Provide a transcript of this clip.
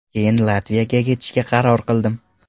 Keyin Latviyaga ketishga qaror qildim.